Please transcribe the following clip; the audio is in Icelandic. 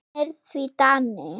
Hann er því Dani.